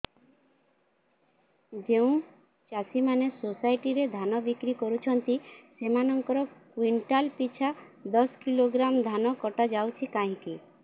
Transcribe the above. ଯେଉଁ ଚାଷୀ ମାନେ ସୋସାଇଟି ରେ ଧାନ ବିକ୍ରି କରୁଛନ୍ତି ସେମାନଙ୍କର କୁଇଣ୍ଟାଲ ପିଛା ଦଶ କିଲୋଗ୍ରାମ ଧାନ କଟା ଯାଉଛି କାହିଁକି